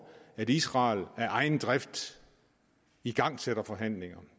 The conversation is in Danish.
at israel af egen drift igangsætter forhandlinger